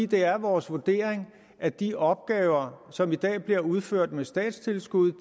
det er vores vurdering at de opgaver som i dag bliver udført med statstilskud